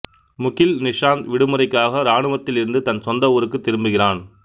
முகில் நிஷாந்த் விடுமுறைக்காக ராணுவத்தில் இருந்து தன் சொந்த ஊருக்குத் திரும்புகிறான்